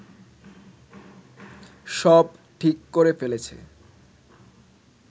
সব ঠিক করে ফেলেছে